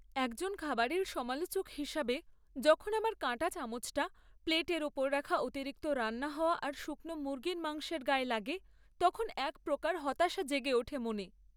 একজন খাবারের সমালোচক হিসাবে, যখন আমার কাঁটাচামচটা প্লেটের উপর রাখা অতিরিক্ত রান্না হওয়া আর শুকনো মুরগির মাংসের গায়ে লাগে, তখন এক প্রকার হতাশা জেগে ওঠে মনে!